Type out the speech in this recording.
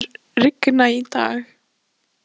Dalía, mun rigna í dag?